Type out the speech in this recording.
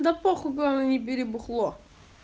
да похуй главное не бери бухло